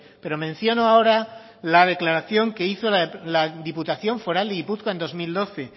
pero menciono ahora la declaración que hizo la diputación foral de gipuzkoa en dos mil doce